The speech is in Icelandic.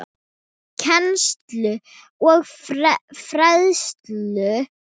Kennslu og fræðslu